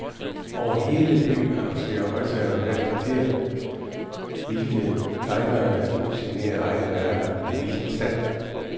Over hele byen annoncerer højttalere hvert kvarter, hvilke tegnere der nu signerer egne værker ved hvilken stand.